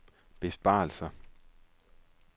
besparelser